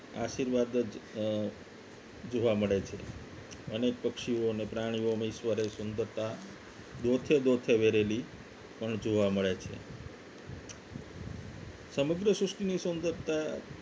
આશીર્વાદ અ જોવા મળે છે અને પક્ષીઓને પ્રાણીઓમાં ઈશ્વરે સુંદરતા દોથે દોથે વેરેલી પણ જોવા મળે છે સમગ્ર સૃષ્ટિ ની સુંદરતા